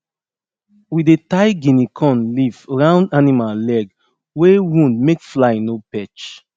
we dey tie guinea corn leaf round animal leg wey wound make fly no perch